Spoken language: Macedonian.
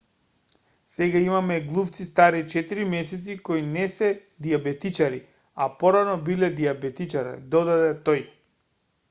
сега имаме глувци стари 4 месеци кои не се дијабетичари a порано биле дијабетичари додаде тој